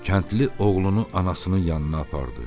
Kəndli oğlunu anasının yanına apardı.